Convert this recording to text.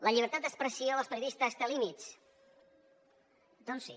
la llibertat d’expressió dels periodistes té límits doncs sí